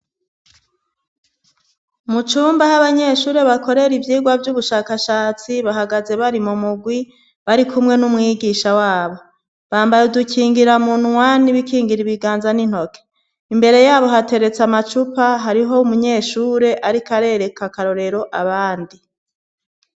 Mu cumba aho abanyeshuri bakorera ivyigwa vy'ubushakashatsi, bahagaze bari mu murwi, bari kumwe n'umwigisha wabo. Bambaye udukingiramunwa n' ibikingira ibiganza n'intoke. Imbere yabo hateretse amacupa, hariho umunyeshure ariko arereka akarorero abandi.